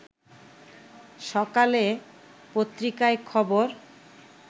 সকালে পত্রিকায় খবর